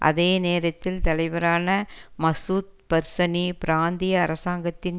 அதே நேரத்தில் தலைவரான மசூத் பர்சனி பிராந்திய அரசாங்கத்தின்